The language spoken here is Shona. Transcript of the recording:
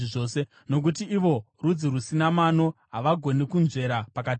Nokuti ivo rudzi rusina mano, havagoni kunzvera pakati pavo.